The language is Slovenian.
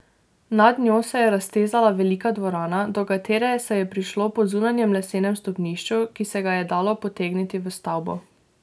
Nad njo se je raztezala velika dvorana, do katere se je prišlo po zunanjem lesenem stopnišču, ki se ga je dalo potegniti v stavbo.